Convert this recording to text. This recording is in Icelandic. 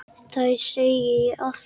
Þér segi ég allt.